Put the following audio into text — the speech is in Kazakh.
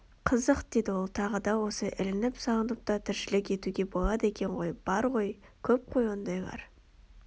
Қызық деді ол тағы да осылай ілініп салынып та тіршілік етуге болады екен ғой бар ғой көп қой ондайлар